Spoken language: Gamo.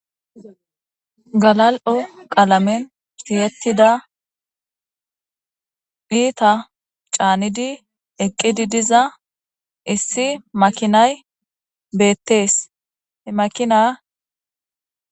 Galal'o qalamen tiyetida ita c'anidi eqidi diza issi makinay betes he makina .